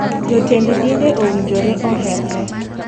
Jotend dinde owinjore oherre.